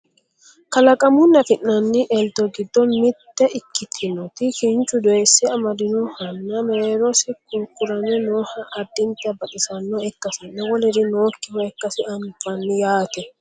kalaqamunni afi'nanni elto giddo mitte ikkitinoti kinchu doyiisse amadinohanna mereerosi kurkurame nooha addinta baxisannoha ikkasinna woluri nookkiwa ikkasi anafani yaate